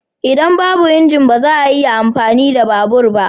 Idan babu injin, ba za a iya amfani da babur ba.